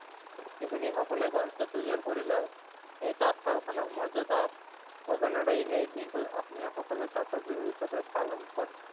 শিপিনী সকলে ঘৰতে তৈয়াৰ কৰি লয়, এই তাঁতশাল খনক মৰ্যাদা প্ৰদানৰে এই দিনটোক অসমীয়া সকলে তাঁতৰ বহু হিচাপে পালন কৰে।